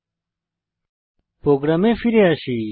এখন প্রোগ্রামে ফিরে আসি